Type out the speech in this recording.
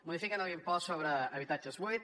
modifiquen l’impost sobre habitatges buits